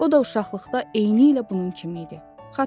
O da uşaqlıqda eynilə bunun kimi idi.